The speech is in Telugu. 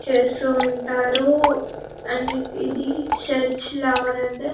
చేస్తూ ఉంటారు అన్ని ఇది చర్చి లాగనైతే --